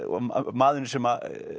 maðurinn sem